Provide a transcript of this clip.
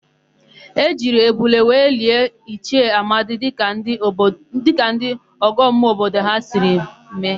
E jiri ebule were lie Ichie Amadi dịka ndị ọgọmmụọ obodo ha si eme.